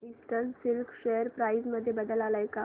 eastern silk share price मध्ये बदल आलाय का